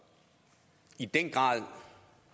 i den grad